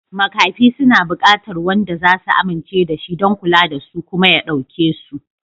Makafi suna buƙatar wanda za su amince da shi don kula da su kuma ya ɗauke su.